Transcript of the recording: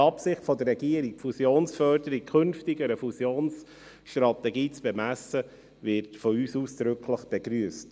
Die Absicht der Regierung, Fusionsförderung künftig an einer Fusionsstrategie zu bemessen, wird von uns ausdrücklich begrüsst.